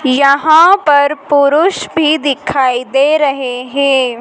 यहां पर पुरुष भी दिखाई दे रहे है।